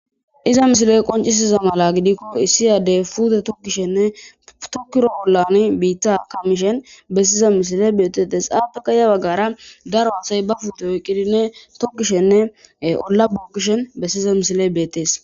iza misiley qoncisiza mala gidikko issiyadey puude tokkishenne tokkiro ollan biitta kamishen bessiza misile beettetes aappeka ya waggara daro hathay ba puutew qidine tokkishenne olla buokkishen bessiza misile beettees